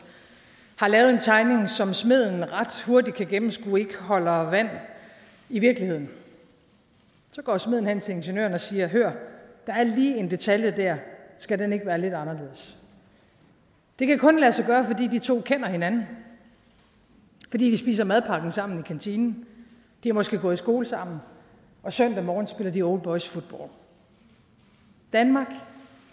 har lavet en tegning som smeden ret hurtigt kan gennemskue ikke holder vand i virkeligheden så går smeden hen til ingeniøren og siger hør der er lige en detalje dér skal den ikke være lidt anderledes det kan kun lade sig gøre fordi de to kender hinanden fordi de spiser madpakken sammen i kantinen de har måske gået i skole sammen og søndag morgen spiller de oldboysfodbold danmark